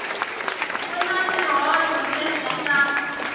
ku na swihoxo leswi nga